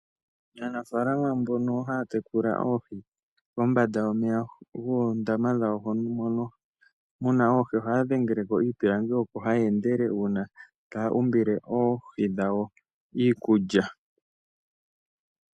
Aanafalama mbono haya tekula oohi kombanda yomeya goondama dhawo mono muna oohi ohaya dhengeleko iipilangi oko haya endele uuna taya umbile oohi dhawo iikulya.